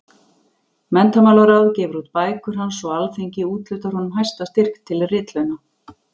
Menntamálaráð gefur út bækur hans og Alþingi úthlutar honum hæsta styrk til ritlauna.